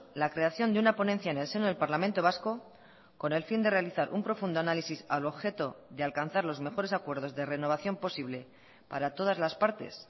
la creación de una ponencia en el seno del parlamento vasco con el fin de realizar un profundo análisis al objeto de alcanzar los mejores acuerdos de renovación posible para todas las partes